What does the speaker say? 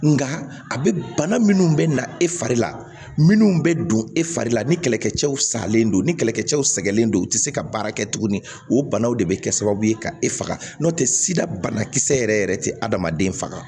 Nka a bɛ bana minnu bɛ na e fari la minnu bɛ don e fari la ni kɛlɛkɛcɛw salen don ni kɛlɛkɛcɛw sɛgɛnnen don u tɛ se ka baara kɛ tuguni o banaw de bɛ kɛ sababu ye ka e faga n'o tɛ sida banakisɛ yɛrɛ yɛrɛ tɛ adamaden faga